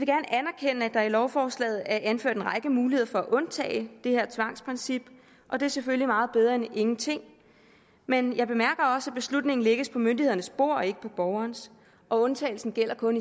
jeg at i lovforslaget er anført en række muligheder for at undtage det her tvangsprincip og det er selvfølgelig meget bedre end ingenting men jeg bemærker også at beslutningen lægges på myndighedernes bord og ikke på borgernes og undtagelsen gælder kun